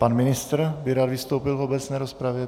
Pan ministr by rád vystoupil v obecné rozpravě.